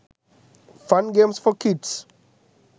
fun games for kids